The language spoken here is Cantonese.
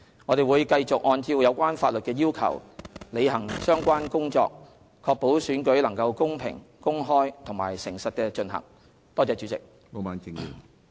我們會繼續按照有關法律的要求，履行相關工作，確保選舉能公平、公開和誠實地進行。